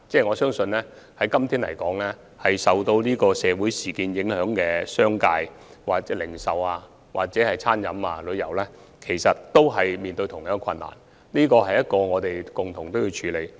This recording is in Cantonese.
我相信任何營辦商也受到社會事件影響，不論商界或零售、餐飲和旅遊業界都面對同樣的困難，這是我們要共同處理的問題。